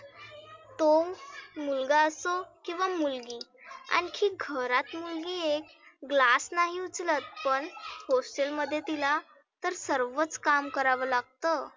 तो मुलगा असो किंवा मुलगी आनखी घरात म्हणजे glass नाही उचलत पण hostel मध्ये तीला तर सर्वच काम करावा लागतं.